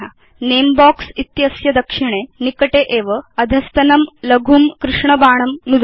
नमे box इत्यस्य दक्षिणे निकटे एव अधस्तनं लघुं कृष्ण बाणं नुदतु